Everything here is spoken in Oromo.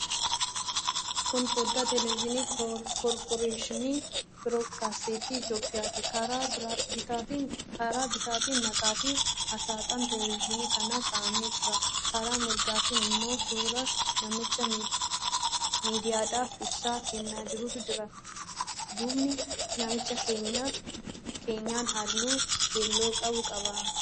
Kun foddaa teeleviizyinii Korporeeshinii Biroodkaastii Itiyoophiyaati. Karaa bitaatiin maqaafi aasxaan teeleviizyinii kanaa kaa'amee jira. Karaa mirgaatiin immoo suuraa namicha miidiyaadhaaf ibsa kennaa jiruutu jira. Duubni namichaa keenyan halluu keelloo qabu qaba.